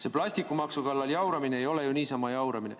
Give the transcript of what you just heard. See plastikumaksu kallal jauramine ei ole ju niisama jauramine.